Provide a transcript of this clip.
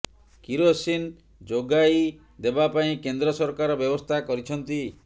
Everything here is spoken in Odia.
କିରୋସିନ ଯୋଗାଇ ଦେବା ପାଇଁ କେନ୍ଦ୍ର ସରକାର ବ୍ୟବସ୍ଥା କରିଛନ୍ତି